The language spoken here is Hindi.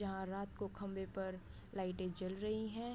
यहाँ रात को खंभे पर लाइटें जल रही हैं।